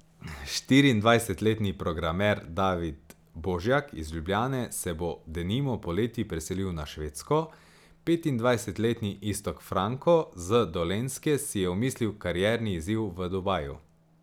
Štiriindvajsetletni programer David Božjak iz Ljubljane se bo, denimo, poleti preselil na Švedsko, petindvajsetletni Iztok Franko z Dolenjske si je omislil karierni izziv v Dubaju.